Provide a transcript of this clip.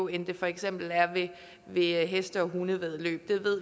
end det for eksempel er ved heste og hundevæddeløb